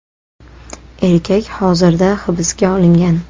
Erkak hozirda hibsga olingan.